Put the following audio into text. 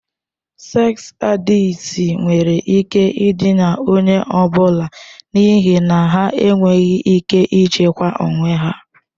Seks adịkti nwere ike ịdịna onye ọ bụla n'ihi na ha enweghị ike ịchịkwa onwe ha.